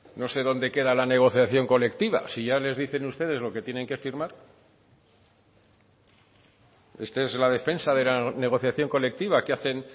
no sé dónde queda la negociación colectiva si ya les dicen ustedes lo que tienen que firmar esta es la defensa de la negociación colectiva que hacen